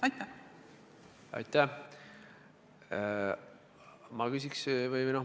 Aitäh!